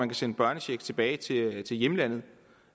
kan sende børnechecken tilbage til hjemlandet